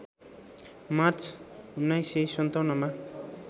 March १९५७ मा